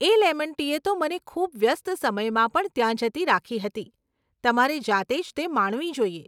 એ lemon ટીએ તો મને ખૂબ વ્યસ્ત સમયમાં પણ ત્યાં જતી રાખી હતી, તમારે જાતે જ તે માણવી જોઈએ.